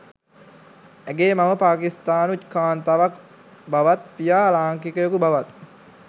ඇගේ මව පාකිස්තානු කාන්තාවක් බවත් පියා ලාංකිකයකු බවත්